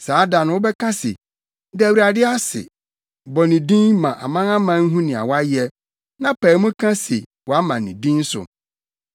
Saa da no wobɛka se, “Da Awurade ase, bɔ ne din ma amanaman nhu nea wayɛ, na pae mu ka se wɔama ne din so.